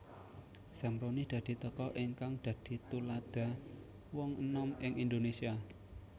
Zamroni dadi tokoh ingkang dadi tuladha wong enom ing Indonesia